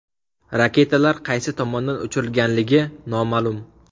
Raketalar qaysi tomondan uchirilganligi noma’lum.